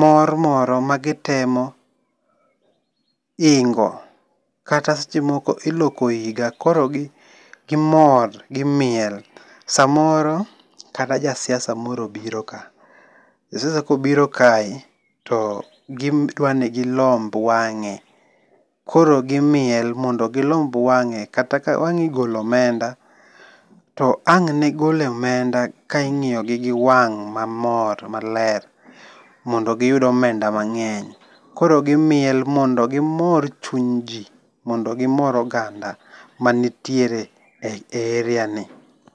mor moro ma gitemo hingo kata sechemoko iloko higa koro gimor gimiel samoro kata ja siasa moro obiro ka, ja siasa kobiro kae to gidwani gilomb wange' koro gimiel mondo gi lomb wange' kata ka wang igolo omenda to ang'ne gol omenda ka ingi'yogi gi wang' ma mor maler mondo giyud omenda mange'ny. Koro gimiel mondo gimor chuny ji mondo gimor oganda manitiere e area ni